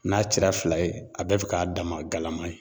N'a cira fila ye a bɛɛ bɛ k'a dama galama ye.